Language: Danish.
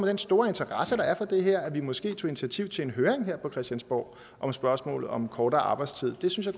den store interesse der er for det her at vi måske tog initiativ til en høring her på christiansborg om spørgsmålet om kortere arbejdstid det synes